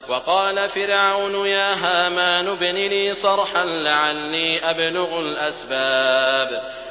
وَقَالَ فِرْعَوْنُ يَا هَامَانُ ابْنِ لِي صَرْحًا لَّعَلِّي أَبْلُغُ الْأَسْبَابَ